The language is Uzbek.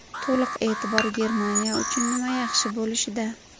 To‘liq e’tibor Germaniya uchun nima yaxshi bo‘lishida.